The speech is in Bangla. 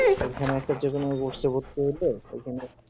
এখানে যেখানে যে কোন একটা rost এ হলে এখানে